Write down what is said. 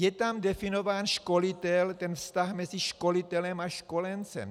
Je tam definován školitel, ten vztah mezi školitelem a školencem.